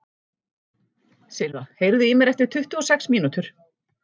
Silva, heyrðu í mér eftir tuttugu og sex mínútur.